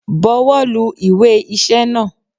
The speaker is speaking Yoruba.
Bọwọ́ lu Ìwé iṣẹ́ náà!